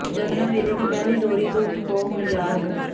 ਜਨਮ ਵੇਲੇ ਦੀ ਪਹਿਲੀ ਲੋਰੀ ਤੋਂ ਉੱਠ ਪਉ ਹੁਣ ਯਾਰ ਹੋ